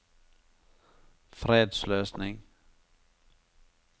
fredsløsning